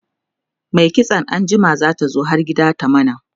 Mai kitso anjima zata zo har gida ta mana